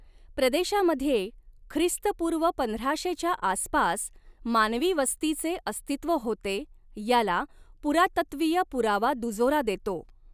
प्रदेशामध्ये ख्रिस्तपूर्व पंधराशेच्या आसपास मानवी वस्तीचे अस्तित्व होते याला पुरातत्त्वीय पुरावा दुजोरा देतो.